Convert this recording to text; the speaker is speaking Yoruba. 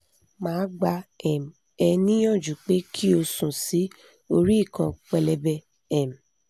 ma gba um e niyanju pe ki o sun si ori ikan pelebe um